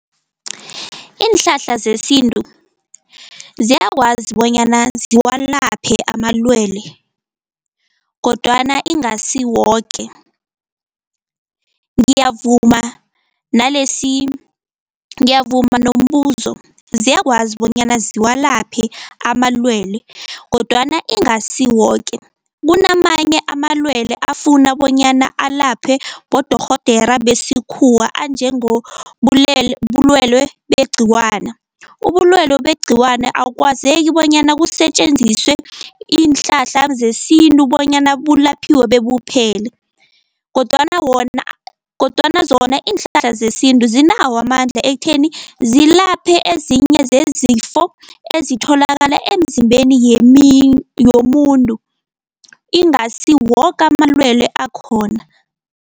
Iinhlahla zesintu ziyakwazi bonyana ziwalaphe amalwele kodwana ingasi woke. Ngiyavuma , ngiyavuma nombuso ziyakwazi bonyana ziwalaphe amalwele kodwana ingasi woke, kunamanye amalwele afuna bonyana alaphe bodorhodera besikhuwa anjengo bulwelwe begciwana. Ubulwelwe begciwane akwazeki bonyana kusetjenziswe iinhlahla zesintu bonyana bulaphiwe bebuphele, kodwana wona, kodwana zona iinhlahla zesintu zinawo amandla ekutheni zilaphe ezinye zezifo ezitholakala emzimbeni yomuntu, ingasi woke amalwelwe akhona.